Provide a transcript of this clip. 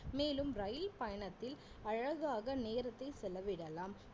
மேலும் ரயில் பயணத்தில் அழகாக நேரத்தை செலவிடலாம்